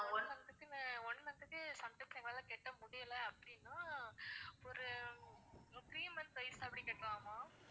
one month க்கு ma'am one month க்கு sometimes எங்களால கட்ட முடியல அப்படின்னா ஒரு three months கழிச்சு அப்படி கட்டலாமா